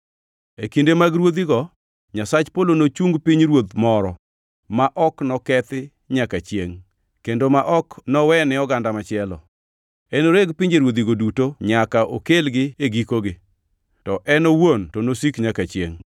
“E kinde mag ruodhigo, Nyasach polo nochung pinyruoth moro ma ok nokethi nyaka chiengʼ, kendo ma ok nowene oganda machielo. Enoreg pinjeruodhigo duto nyaka okelgi e gikogi, to en owuon to nosik nyaka chiengʼ.”